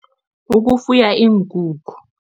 Ukufuya iinkukhu.